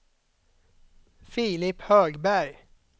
Filip Högberg